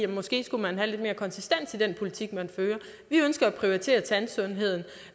måske skulle have lidt mere konsistens i den politik man fører vi ønsker at prioritere tandsundheden